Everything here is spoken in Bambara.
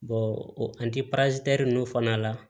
o ninnu fana la